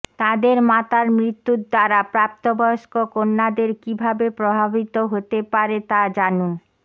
তাদের মাতার মৃত্যুর দ্বারা প্রাপ্তবয়স্ক কন্যাদের কীভাবে প্রভাবিত হতে পারে তা জানুন